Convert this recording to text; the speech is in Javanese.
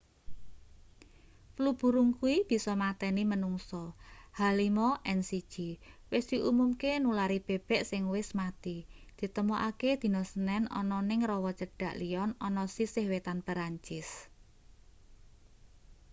flu burung kuwi bisa mateni manungsa h5n1 wis diumumke nulari bebek sing wis mati ditemokake dina senen ana ning rawa cedhak lyon ana sisih wetan perancis